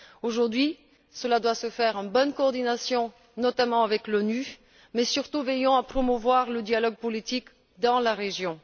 Aujourd'hui, cela doit se faire en bonne coordination, notamment avec l'ONU, mais surtout en veillant à promouvoir le dialogue politique dans la région.